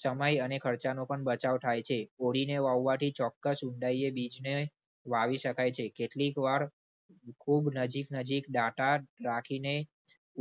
સમય અને ખર્ચાનો પણ બચાવ થાય છે. ઓળી ને વાવવાથી ચોક્કસ ઊંડાઈએ બીજને વાવી શકાય છે. કેટલીક વાર ખુબ નજીક નજીક ડાંટા રાખીને